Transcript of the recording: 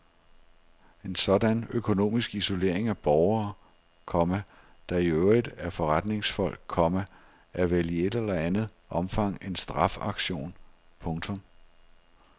En sådan økonomisk isolering af borgere, komma der i øvrigt er forretningsfolk, komma er vel i et eller andet omfang en strafaktion. punktum